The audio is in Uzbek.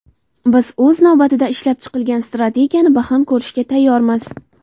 Biz, o‘z navbatida, ishlab chiqilgan strategiyani baham ko‘rishga tayyormiz.